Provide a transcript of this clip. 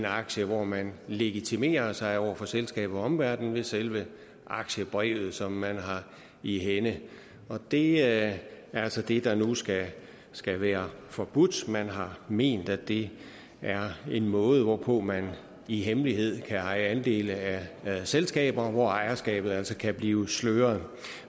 aktier hvor man legitimerer sig over for selskabet og omverden ved selve aktiebrevet som man har i hænde og det er altså det der nu skal skal være forbudt man har ment at det er en måde hvorpå man i hemmelighed kan eje andele af selskaber hvor ejerskabet altså kan blive sløret